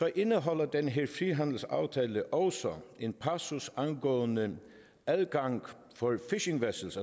indeholder den her frihandelsaftale også en passus angående adgang for fishing vessels